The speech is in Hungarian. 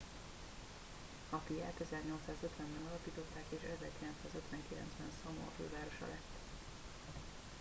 apiát 1850 ben alapították és 1959 ben szamoa fővárosa lett